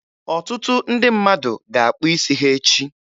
Ọtụtụ ndị mmadụ ga-akpụ isi ha echi.